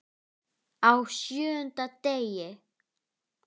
Á SJÖUNDA DEGI